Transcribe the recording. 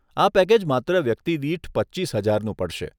આ પેકેજ માત્ર વ્યક્તિદીઠ પચીસ હજારનું પડશે.